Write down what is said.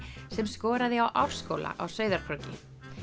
sem skoraði á Árskóla á Sauðárkróki